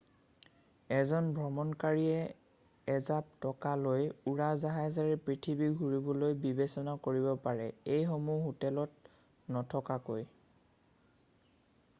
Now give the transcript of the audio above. এজন ভ্ৰমণকাৰীয়ে এজাপ টকা লৈ উৰাজাহাজেৰে পৃথিৱী ঘূৰিবলৈ বিবেচনা কৰিব পাৰে এইসমূহ হোটেলত নথকাকৈ